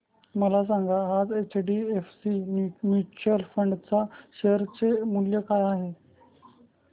मला सांगा आज एचडीएफसी म्यूचुअल फंड च्या शेअर चे मूल्य काय आहे